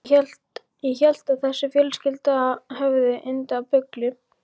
Ég hélt að þessi fjölskylda hefði yndi af bulli.